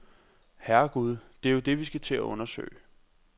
Herregud, det er jo det, vi skal til at undersøge.